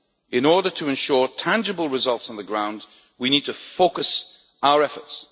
In order to ensure tangible results on the ground we need to focus our